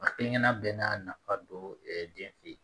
A kelen kelenna bɛɛ n'a nafa don den fɛ